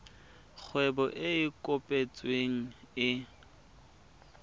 kgwebo e e kopetsweng e